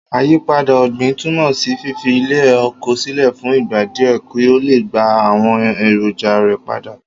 Àyípadà ò̩gbìn túmò̩ sí fífi ilè̩ oko sílè̩ fún ìgbà díè̩ kí ó lè gba àwo̩n èrònja rè̩ padá